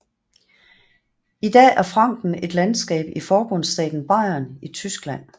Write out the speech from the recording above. Idag er Franken et landskab i forbundsstaten Bayern i Tyskland